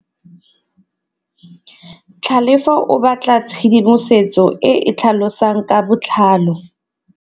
Tlhalefô o batla tshedimosetsô e e tlhalosang ka botlalô.